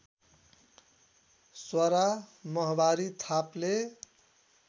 स्वारा महबारी थाप्ले